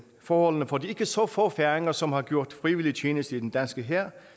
forholdene for de ikke så få færinger som har gjort frivillig tjeneste i den danske hær